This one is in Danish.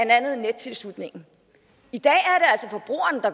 andet nettilslutningen i dag